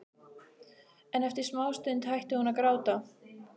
En eftir smástund hætti hún að gráta.